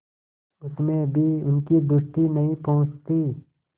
उसमें भी उनकी दृष्टि नहीं पहुँचती